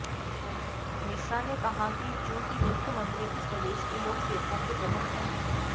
मिश्रा ने कहा कि चूंकि मुख्यमंत्री इस प्रदेश के लोकसेवकों के प्रमुख हैं